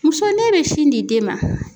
Muso n'e bɛ sin di den ma